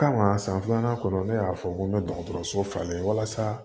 Kama san filanan kɔnɔ ne y'a fɔ n ko n bɛ dɔgɔtɔrɔso falen walasa